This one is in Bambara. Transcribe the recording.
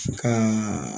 Ka